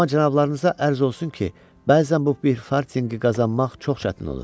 Amma cənablarınıza ərz olsun ki, bəzən bu bir fartinqi qazanmaq çox çətin olur.